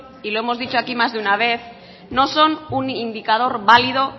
y lo hemos dicho aquí más de una vez no son un indicador valido